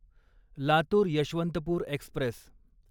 Latur Yeshwantpur Express